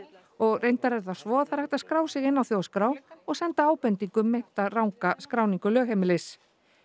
og reyndar er það svo að er hægt að skrá sig inn á þjóðskrá og senda ábendingu um meinta ranga skráningu lögheimilis